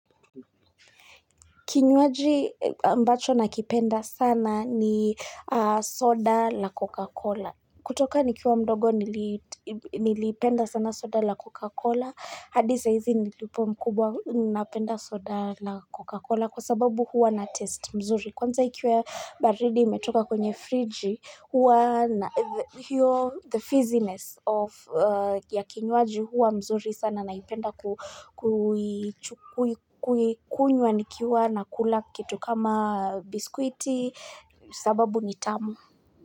Kinywaji mbacho nakipenda sana ni soda la Coca-Cola. Kutoka nikiwa mdogo nilipenda sana soda la Coca-Cola. Hadi saa hizi nilipo mkubwa napenda soda la Coca-Cola kwa sababu huwa na ladha nzuri. Kwanza ikiwe baridi imetoka kwenye friji huwa na hiyo the fizziness of ya kinywaji huwa mzuri sana naipenda kukunywa nikiwa nakula kitu kama biskuiti sababu ni tamu.